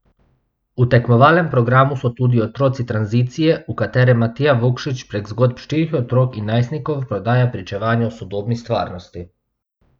V tekmovalnem programu so tudi Otroci tranzicije, v katerem Matija Vukšić prek zgodb štirih otrok in najstnikov podaja pričevanje o sodobni stvarnosti.